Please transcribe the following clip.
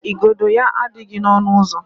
igodo ya adịghị n'ọnụ ụzọ.